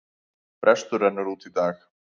Frestur rennur út í dag.